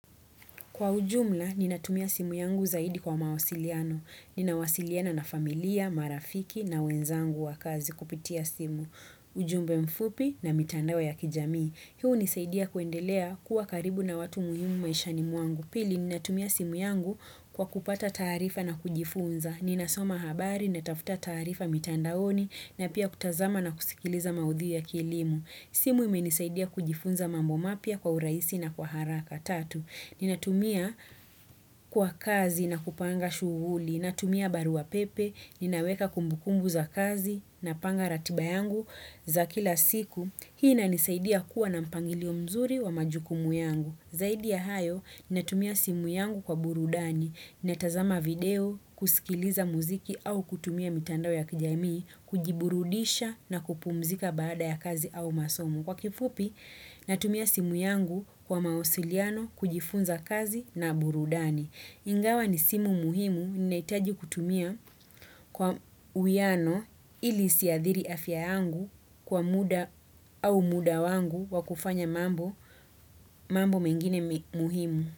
Kwa ujumla, ninatumia simu yangu zaidi kwa mawasiliano. Ninawasiliana na familia, marafiki na wenzangu wa kazi kupitia simu. Ujumbe mfupi na mitandao ya kijamii. Hii hunisaidia kuendelea kuwa karibu na watu muhimu maishani mwangu. Pili, ninatumia simu yangu kwa kupata taarifa na kujifunza. Ninasoma habari, natafuta taarifa mitandaoni na pia kutazama na kusikiliza maudhui ya kielimu. Simu imenisaidia kujifunza mambo mapya kwa urahisi na kwa haraka tatu. Ninatumia kwa kazi na kupanga shughuli, natumia barua pepe, ninaweka kumbukumbu za kazi napanga ratiba yangu za kila siku. Hii inanisaidia kuwa na mpangilio mzuri wa majukumu yangu. Zaidi ya hayo, natumia simu yangu kwa burudani, natazama video, kusikiliza muziki au kutumia mitandao ya kijamii, kujiburudisha na kupumzika baada ya kazi au masomo. Kwa kifupi, natumia simu yangu kwa mawasiliano kujifunza kazi na burudani. Ingawa ni simu muhimu, ninahitaji kutumia kwa uwiano ili isiadhiri afya yangu kwa muda au muda wangu wa kufanya mambo mengine muhimu.